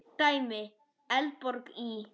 Dæmi: Eldborg í